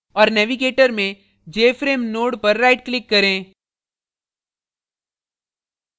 औऱ navigator में jframe node पर right click करें